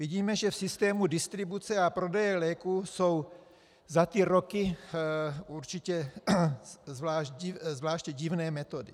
Vidíme, že v systému distribuce a prodeje léků jsou za ty roky určitě zvláště divné metody.